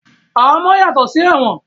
Ahamọ́ yàtọ̀ sí ẹ̀wọ̀n